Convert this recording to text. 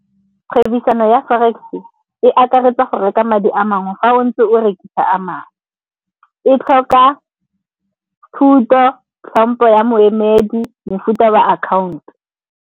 Kgwebisano ya Forex-e e akaretsa go reka madi a mangwe fa o ntse o rekisa a mangwe. E tlhoka thuto, hlompho ya moemedi, mofuta wa akhaonto.